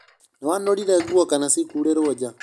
Nĩwanũrire nguo kana cikurĩ rwo nja?